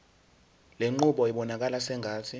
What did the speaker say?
lenqubo ibonakala sengathi